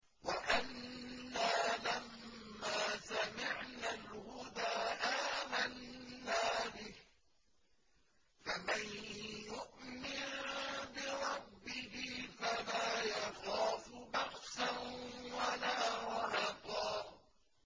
وَأَنَّا لَمَّا سَمِعْنَا الْهُدَىٰ آمَنَّا بِهِ ۖ فَمَن يُؤْمِن بِرَبِّهِ فَلَا يَخَافُ بَخْسًا وَلَا رَهَقًا